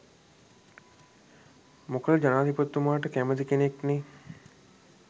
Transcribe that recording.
මොකද ජනාධිපතිතුමාට කැමැති කෙනෙක්නේ